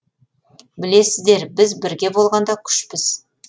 білесіздер біз бірге болғанда күшпіз